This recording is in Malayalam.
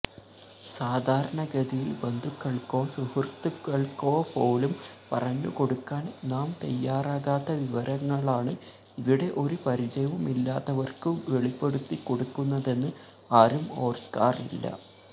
സാധാരണഗതിയില് ബന്ധുക്കള്ക്കോ സുഹൃത്തുക്കള്ക്കോപോലും പറഞ്ഞുകൊടുക്കാന് നാം തയ്യാറാകാത്ത വിവരങ്ങളാണ് ഇവിടെ ഒരു പരിചയവുമില്ലാത്തവര്ക്കു വെളിപ്പെടുത്തിക്കൊടുക്കുന്നതെന്ന് ആരും ഓര്ക്കാറില്ല